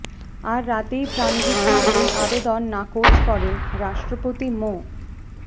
আর রাতেই প্রাণভিক্ষার ওই আবেদন নাকচ করেন রাষ্ট্রপতি মো